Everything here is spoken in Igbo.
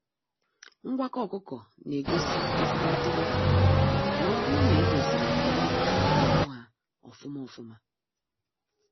Ngwakọ ọkụkọ na egosi ezigbo ntolite n'oburu na e doziri nri na ọkụ ha ofụma ofụma.